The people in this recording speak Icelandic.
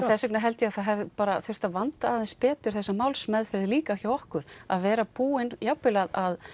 þess vegna held ég að það hefði þurft að vanda aðeins betur þessa málmeðferð líka hjá okkur að vera búin jafnvel að